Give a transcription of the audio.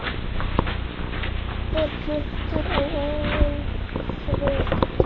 Ert þú sjálfur fluttur á Ólafsvík?